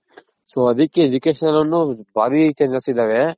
so ಅದಕ್ಕೆ Education ಅನ್ನೋದ್ ಬಾರಿ changes ಇದಾವೆ.